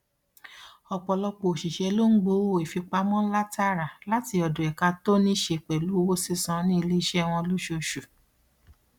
ọpọlọpọ òṣìṣẹ ló ń gbowó ìfipamọ ńlá tààrà láti ọdọ ẹka to níṣe pẹlú owó sísan ní iléeṣẹ wọn lóṣooṣù